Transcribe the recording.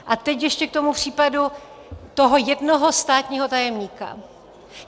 A teď ještě k tomu případu toho jednoho státního tajemníka.